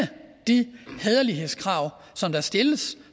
de hæderlighedskrav som der stilles